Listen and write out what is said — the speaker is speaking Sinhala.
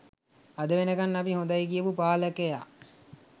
අද වෙනකන් අපි හොඳයි කියපු පාලකයා?